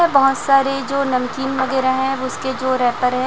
और बहोत सारे जो नमकीन वगैरह हैं उसके जो रैपर हैं।